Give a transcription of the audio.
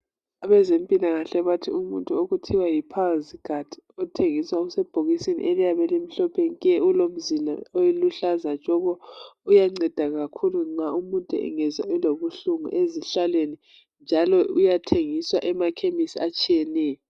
Abantu abezempilakahle bathi umuntu okuthiwa yi Pilesguard ethengiswa usebhokisini eliyabe limhlophe nke ulomzila oluhlaza tshoko, uyanceda kakhulu nxa umuntu engezwa elobuhlungu ezihlalweni njalo uyathengiswa emakhemesi atshiyeneyo.